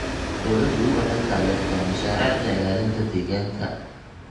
Dawladdu waxay taageertaa mashaariicda ilaalinta deegaanka.